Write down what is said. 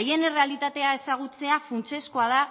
haien errealitatea ezagutzea funtsezkoa da